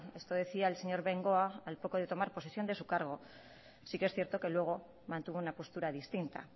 eso decía el señor bengoa al poco de tomar posesión de su cargo sí que es cierto luego mantuvo una postura distinta